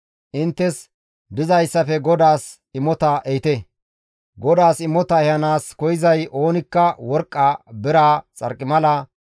Inttes dizayssafe GODAAS imota ehite; GODAAS imota ehanaas koyzay oonikka worqqa, biraa, xarqimala,